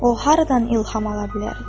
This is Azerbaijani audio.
O haradan ilham ala bilər?